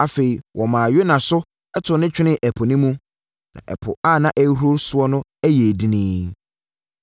Afei, wɔmaa Yona so too no twenee ɛpo no mu, na ɛpo a na ɛrehuru soɔ no yɛɛ dinn.